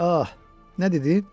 Ah, nə dedin?